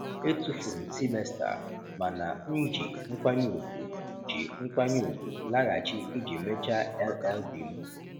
Etufuru m semester mana m ji nkwanye ugwu ji nkwanye ugwu laghachi iji mechaa LL.B m.